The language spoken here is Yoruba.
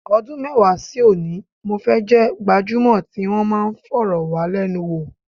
Ọdún mẹ́wàá sí òní, mo fẹ́ jẹ́ gbajúmọ̀ tí wọn máa fọ̀rọ̀wálẹ́nuwò.